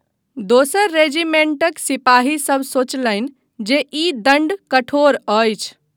दोसर रेजीमेंटक सिपाहीसभ सोचलनि जे ई दण्ड कठोर अछि।